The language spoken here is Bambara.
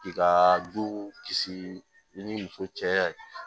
K'i ka du kisi i ni muso cɛ